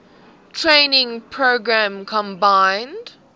training program combined